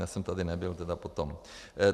Já jsem tady nebyl tedy potom.